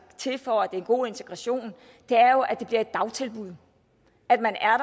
til for at det er en god integration er jo at det bliver et dagtilbud at man er